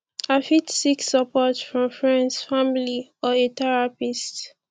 i fit seek support from freinds family or a therapist